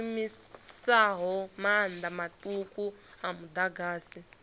shumisaho maanḓa maṱuku a muḓagasi